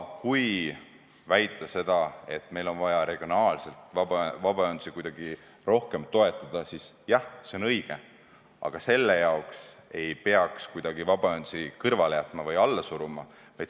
Kui väita, et meil on vaja vabaühendusi regionaalselt kuidagi rohkem toetada, siis jah, see on õige, aga selle jaoks ei peaks vabaühendusi kõrvale jätma või alla suruma.